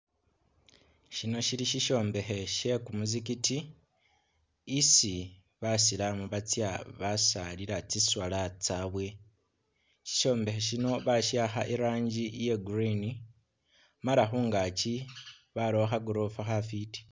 Shino syili sisyombekhe she kumuzigiti isi basilamu batsya basilila tsi swala tsabwe. Sisyombekhe sino basi'akha i'rangi ya green mala khungaaki barakho kha gorofa khafwiti.